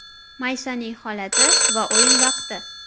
Maysaning holati va o‘yin vaqti?